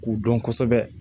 K'u dɔn kosɛbɛ